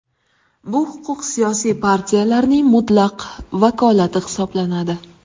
Bu huquq siyosiy partiyalarning mutlaq vakolati hisoblanadi.